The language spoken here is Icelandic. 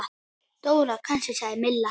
Dóra kannski? sagði Milla.